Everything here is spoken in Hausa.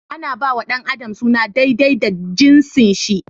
Ana ba wa da adam suna daidai da jinsin shi/ ta.